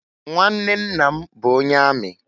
Nwanne nna m bụ onye amị.